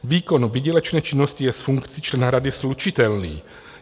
Výkon výdělečné činnosti je s funkcí člena rady slučitelný.